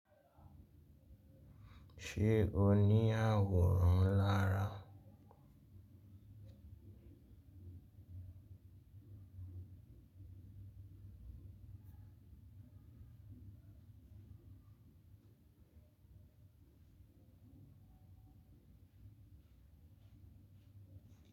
Ṣé o ní àwòrán lára?